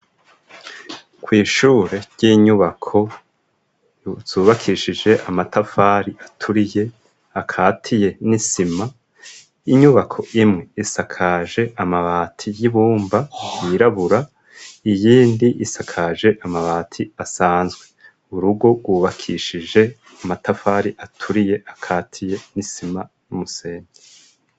Kw'ishure ry'inyubako zubakishije amatafari aturiye akatiye n'isima inyubako imwe isakaje amabati y'ibumba yirabura iyindi isakaje amabati asanzwe. Urugo rwubakishije amatafari aturiye akatiye n'isima n'umusenyi.